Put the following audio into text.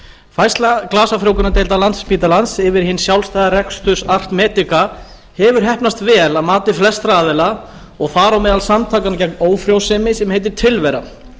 færsla glasafrjóvgunardeildar landspítalans yfir í hinn sjálfstæða rekstur að medica hefur heppnast vel að mati flestra aðila og þar á meðal samtakanna gegn ófrjósemi sem heita tilvera